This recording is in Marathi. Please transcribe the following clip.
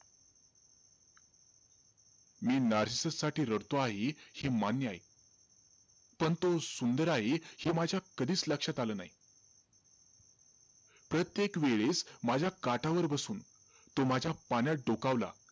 मी नार्सिसससाठी रडतो आहे हे मान्य आहे. पण तो सुंदर आहे हे माझ्या कधीचं लक्षात आलं नाई. प्रत्येक वेळेस माझ्या काठावर बसून, तो माझ्या पाण्यात डोकावला.